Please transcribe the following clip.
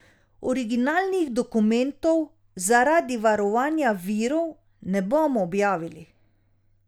Originalnih dokumentov zaradi varovanja virov ne bomo objavili.